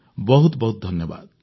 ବହୁତ ବହୁତ ଧନ୍ୟବାଦ